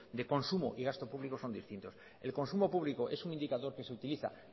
de consumo y gasto público son distintos el consumo público es un indicador que se utiliza